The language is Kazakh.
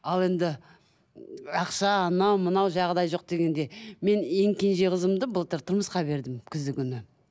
ал енді ақша анау мынау жағдай жоқ дегенде мен ең кенже қызымды былтыр тұрмысқа бердім күздің күні